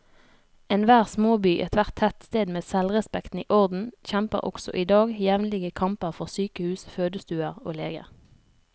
Enhver småby, ethvert tettsted med selvrespekten i orden, kjemper også i dag jevnlige kamper for sykehus, fødestuer og leger.